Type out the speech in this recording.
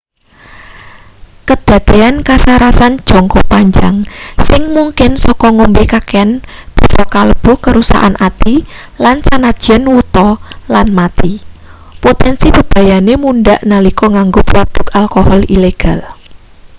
kedadean kasarasan jangka panjang sing mungkin saka ngombe kakean bisa kalebu kerusakan ati lan senajan wuta lan mati potensi bebayane mundhak nalika nganggo produk alkohol ilegal